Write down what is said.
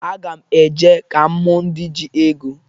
Aga m e je ka m hụ ndị ji ego.